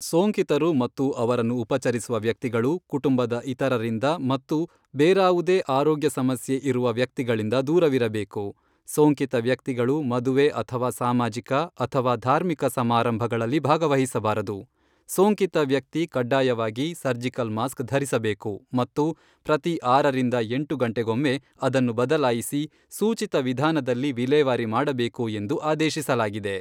ಸೋಂಕಿತರು ಮತ್ತು ಅವರನ್ನು ಉಪಚರಿಸುವ ವ್ಯಕ್ತಿಗಳು, ಕುಟುಂಬದ ಇತರರಿಂದ ಮತ್ತು ಬೇರಾವುದೇ ಆರೋಗ್ಯ ಸಮಸ್ಯೆ ಇರುವ ವ್ಯಕ್ತಿಗಳಿಂದ ದೂರವಿರಬೇಕು, ಸೋಂಕಿತ ವ್ಯಕ್ತಿಗಳು ಮದುವೆ ಅಥವಾ ಸಾಮಾಜಿಕ ಅಥವಾ ಧಾರ್ಮಿಕ ಸಮಾರಂಭಗಳಲ್ಲಿ ಭಾಗವಹಿಸಬಾರದು, ಸೋಂಕಿತ ವ್ಯಕ್ತಿ ಕಡ್ಡಾಯವಾಗಿ ಸರ್ಜಿಕಲ್ ಮಾಸ್ಕ್ ಧರಿಸಬೇಕು ಮತ್ತು ಪ್ರತಿ ಆರರಿಂದ ಎಂಟು ಗಂಟೆಗೊಮ್ಮೆ ಅದನ್ನು ಬದಲಾಯಿಸಿ ಸೂಚಿತ ವಿಧಾನದಲ್ಲಿ ವಿಲೇವಾರಿ ಮಾಡಬೇಕು ಎಂದು ಆದೇಶಿಸಲಾಗಿದೆ.